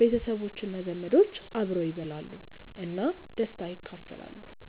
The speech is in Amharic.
ቤተሰቦች እና ዘመዶች አብረው ይበላሉ እና ደስታን ይካፈላሉ።